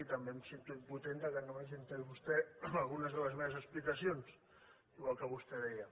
i també em sento impotent que no m’hagi entès vostè en algunes de les meves explicacions igual que vostè deia